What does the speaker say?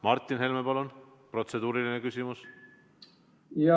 Martin Helme, palun, protseduuriline küsimus!